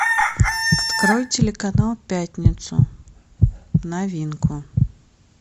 открой телеканал пятницу новинку